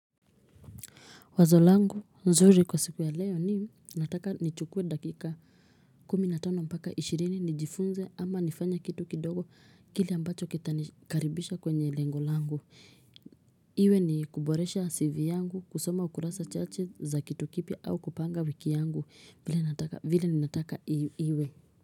Wazo langu nzuri kwa siku ya leo ni nataka nichukue dakika kumi na tano mpaka ishirini nijifunze ama nifanya kitu kidogo kile ambacho kitanikaribisha kwenye lengo langu. Iwe ni kuboresha CV yangu kusoma ukurasa chache za kitu kipya au kupanga wiki yangu vile ninataka iwe.